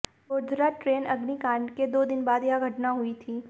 Godhra train अग्निकांड के दो दिन बाद यह घटना हुई थी